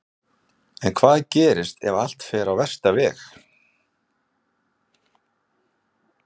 En hvað gerist ef allt fer á versta veg?